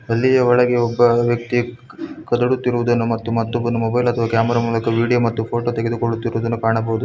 ಅಲ್ಲಿಯ ಒಳಗೆ ಒಬ್ಬ ವ್ಯಕ್ತಿ ಕದುಡುತ್ತಿರುವುದನ್ನು ಮತ್ತು ಮತ್ತೊಬ್ಬನೊ ಮೊಬೈಲ್ ಅಥವಾ ಕ್ಯಾಮೆರಾ ಮೂಲಕ ವಿಡಿಯೋ ಮತ್ತು ಫೋಟೋ ತೆಗೆದುಕೊಳ್ಳುತ್ತಿರುವುದನ್ನು ಕಾಣಬಹುದು.